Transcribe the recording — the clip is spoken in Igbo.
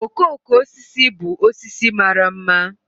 Okooko osisi bụ osisi mara ḿmà